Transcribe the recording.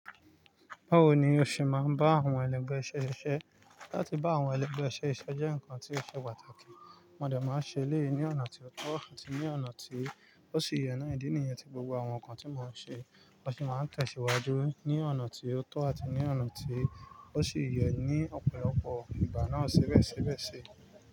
Báwo ni o ṣe máa ń bá àwọn ẹlẹgbẹ́ iṣẹ́ ṣiṣẹ́? Láti bá àwọn ẹlẹgbẹ́ iṣẹ́ ṣiṣẹ́ jẹ́ nǹkan tí ó ṣe pàtàkì. Wọ́n dẹ̀ máa ń ṣe eléyìí ní ọ̀nà tí ó tọ́ àti ní ọ̀nà tí ó ṣi yè náà. Ìdí nìyẹn tí gbogbo àwọn nǹkan tí mọ́n ṣe, wọ́n sì máa ń tẹ̀síwájú ní ọ̀nà tí ó tọ́ àti ní ọ̀nà tí ó ṣe yè ní ọ̀pọ̀lọpọ̀ ìgbà náà ṣíbẹ̀ ṣíbẹ̀ sii.